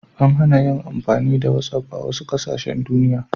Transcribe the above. An hana yin amfani da whatsapp a wasu ƙasashen duniya.